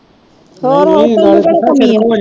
ਹੋਰ ਹੋਰ ਤੈਨੂੰ ਕਿਹੜੀ ਕਮੀ ਆ